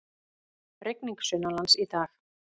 Rigning sunnanlands í dag